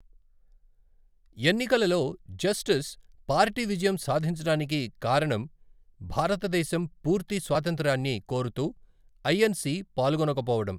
ఎన్నికలలో జస్టిస్ పార్టీ విజయం సాధించడానికి కారణం భారతదేశం పూర్తి స్వాతంత్ర్యాన్ని కోరుతూ ఐఎన్సి పాల్గొనకపోవడం.